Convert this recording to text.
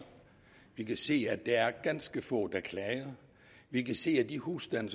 vi kan se at der er ganske få der klager vi kan se at i de husstande